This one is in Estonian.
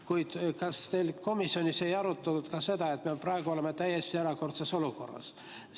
Kuid kas teil komisjonis ei arutatud ka seda, et me praegu oleme täiesti erakordses olukorras?